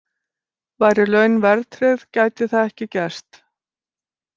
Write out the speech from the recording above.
Væru laun verðtryggð gæti það ekki gerst.